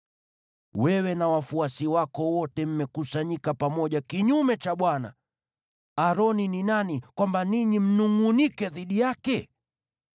Wewe na wafuasi wako wote mmekusanyika pamoja kinyume cha Bwana . Aroni ni nani kwamba ninyi mnungʼunike dhidi yake?”